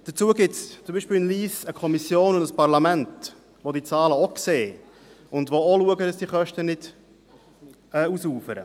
Dazu gibt es beispielsweise in Lyss eine Kommission und ein Parlament, welche diese Zahlen auch sehen und darauf achten, dass die Kosten nicht ausufern.